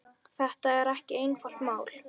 Þetta er ekki einfalt mál.